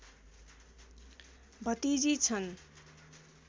भतिजी छन्